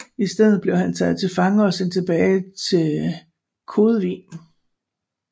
I stedet blev han taget til fange og sendt tilbage til Klodevig